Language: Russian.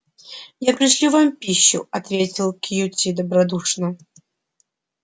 я пришлю вам пищу ответил кьюти добродушно